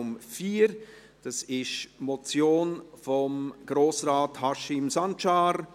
Es handelt sich um die Motion von Grossrat Haşim Sancar